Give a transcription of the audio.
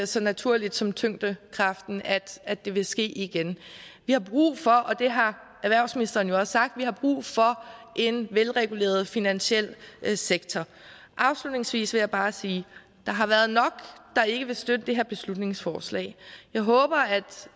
så naturligt som tyngdekraften at det vil ske igen vi har brug for og det har erhvervsministeren jo også sagt en velreguleret finansiel sektor afslutningsvis vil jeg bare sige at der har været nok der ikke vil støtte det her beslutningsforslag jeg håber